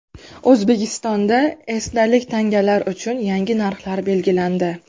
O‘zbekistonda esdalik tangalar uchun yangi narxlar belgilandi.